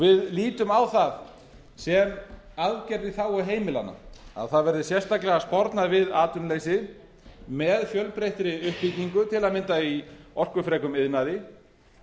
við lítum á það sem aðgerð í þágu heimilanna að það verði sérstaklega spornað við atvinnuleysi með fjölbreyttri uppbyggingu til dæmis í orkufrekum iðnaði